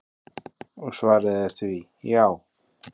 Og svarið er því: já.